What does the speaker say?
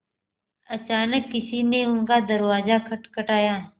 अचानक किसी ने उनका दरवाज़ा खटखटाया